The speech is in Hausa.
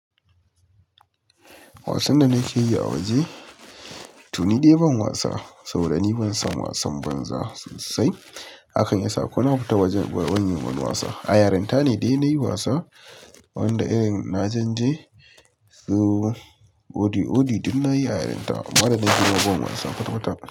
Wasan da nake yi a waje, to ni dai ban wasa, saboda ni ban san wasan banza sosai. Hakan ya sa kuna fita wajen wani man wasa. A yarinta ne dai nayi wasa wanda irin na janje. So odi odi duk na yi a yarinta, amma da na girma ban wasa kwatakwata.